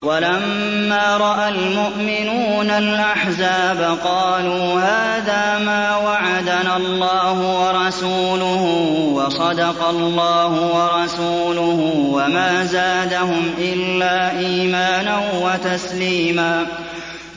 وَلَمَّا رَأَى الْمُؤْمِنُونَ الْأَحْزَابَ قَالُوا هَٰذَا مَا وَعَدَنَا اللَّهُ وَرَسُولُهُ وَصَدَقَ اللَّهُ وَرَسُولُهُ ۚ وَمَا زَادَهُمْ إِلَّا إِيمَانًا وَتَسْلِيمًا